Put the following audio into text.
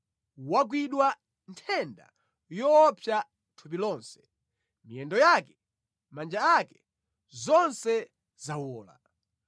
Wagwidwa nthenda yoopsa thupi lonse; miyendo yake, manja ake, zonse zawola.